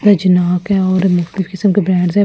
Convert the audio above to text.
रजनाक है और मुकतलिब किस्‍म के ब्रॅण्ड्स है के--